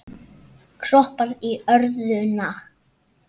Kroppar í örðuna.